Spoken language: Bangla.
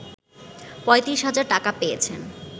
৩৫ হাজার টাকা পেয়েছেন